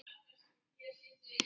Jafnvel heilt ár eða lengur.